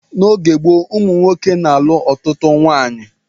N'oge gboo ụmụ nwoke na-alụ ọtụtụ nwaanyị